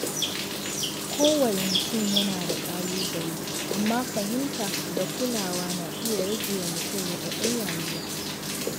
Kowane mutum yana da ƙalubale, amma fahimta da kulawa na iya rage wa mutum raɗaɗin rayuwa.